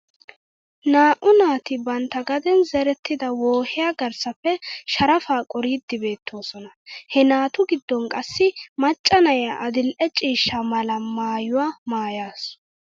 Naa'u naati bantta gaden zerettida wohiyaa garssappe sharafaa qoriiddi beettoosona. He naatu giddon qassi macca na'iyaa adil"e ciishsha mala maayuwaa maayasu.